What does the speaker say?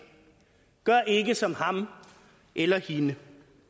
gør ikke som ham eller hende